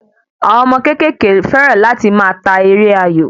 Àwọn ọmọ kékèké fẹ́ràn láti máa ta eré ayò